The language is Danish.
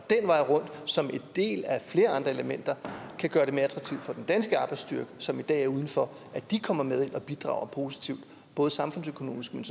den vej rundt som en del af flere andre elementer at for den danske arbejdsstyrke som i dag er udenfor at komme med og bidrage positivt både samfundsøkonomisk men